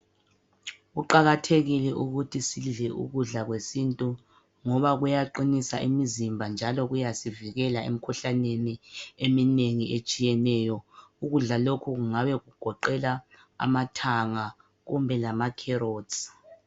Kuqakathekile ukuthi sidle ukudla kwesintu ngoba kuyaqinisa imizimba njalo kuyasivikela emikhuhlaneni eminengi etshiyeneyo. Ukudla lokhu kungabe kugoqela amathangabkumbe lama-carrots.